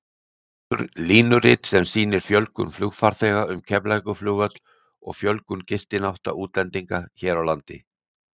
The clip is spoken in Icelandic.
Línurit sem sýnir fjölgun flugfarþega um Keflavíkurflugvöll og fjölgun gistinátta útlendinga hér á landi.